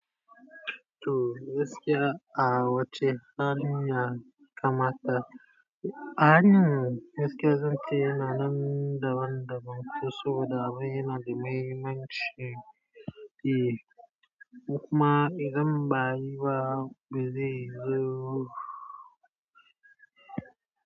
To gaskiya a wacce hanya ya kamata hanyan gaskiya zan ce yana nan da daban-daban, ko saboda abun yana da muhimmanci ko kuma idan baayi ba, bazi zo.